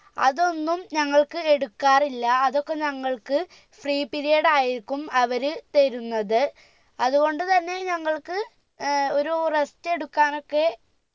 അതൊന്നും ഞങ്ങൾക്ക് എടുക്കാറില്ല അതൊക്കെ ഞങ്ങൾക്ക് free period ആയിരിക്കും അവര് തരുന്നത് അത്കൊണ്ട് തന്നെ ഞങ്ങൾക്ക് ഏർ ഒരു rest എടുക്കാനൊക്കെ